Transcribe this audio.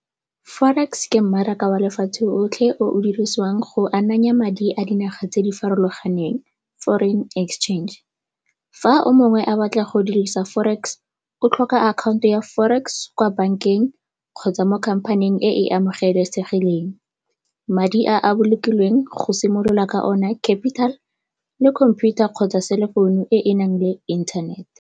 Forex ke mmaraka wa lefatshe 'otlhe o o dirisiwang go amanya madi a dinaga tse di farologaneng, foreign exchange. Fa o mongwe a batla go dirisa forex o tlhoka account-o ya forex kwa bankeng kgotsa mo company-eng e e amogelesegileng. Madi a a bolokilweng go simolola ka o ne capital le computer kgotsa cell phone e e nang le internet.